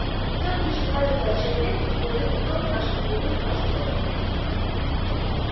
стоит лишь избавиться от человека и плоды трудов наших перейдут в нашу собственность